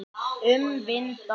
Um vinda.